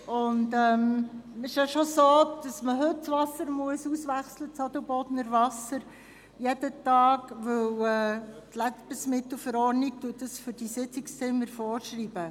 Es ist schon so, dass das Adelbodner Wasser in den Sitzungszimmern jeden Tag ausgewechselt werden muss, weil es die Lebensmittel- und Gebrauchsgegenständeverordnung (LGV) vorschreibt.